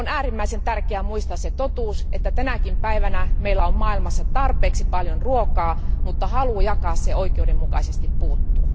On äärimmäisen tärkeää muistaa se totuus, että tänäkin päivänä meillä on maailmassa tarpeeksi paljon ruokaa, mutta halu jakaa se oikeudenmukaisesti puuttuu.